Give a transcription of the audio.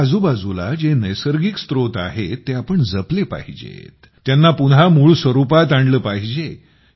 आपल्या आजूबाजूला जे नैसर्गिक स्रोत आहेत ते आपण जपले पाहिजेत त्यांना पुन्हा मूळ स्वरूपात आणले पाहिजे